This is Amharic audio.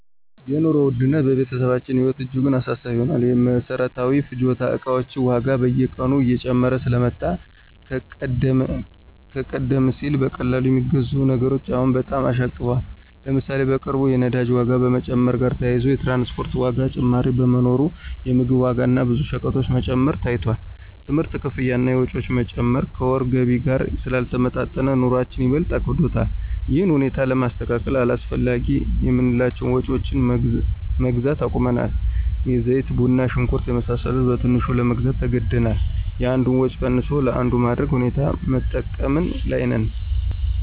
የኑሮ ውድነት በቤተሰባችን ህይወት እጅጉን አሳሳቢ ሆኗል። የመሰረታዊ ፍጆታ እቃዎች ዋጋ በየቀኑ እየጨመረ ስለመጣ ከቀደም ሲል በቀላሉ የሚገዙ ነገሮች አሁን በጣም አሻቅበዋል። ለምሳሌ፣ በቅርቡ የነዳጅ ዋጋ መጨመር ጋር ተያይዞ የትራንስፖርት ዋጋ ጭማሪ በመኖሩ የምግብ ዋጋ እና ብዙ ሸቀጦች መጨመር ታይቷል። የትምህርት ክፍያ እና ወጪዎች መጨመር ከወር ገቢ ጋር ስላልተጣጣሙ፣ ኑሮአችን ይበልጥ አክብዶታል። ይህን ሁኔታ ለማስተካከል አላስፈላጊ የምንላቸውን ወጭዎች መግዛት አቁመናል። የዘይት፣ ቡና፣ ሽንኩርት የመሳሰሉ በትንሹ ለመግዛት ተገደናል። የአንዱን ወጭ ቀንሶ ለአንዱ ማድረግ ሁኔታ በመጠቀም ላይ ነን።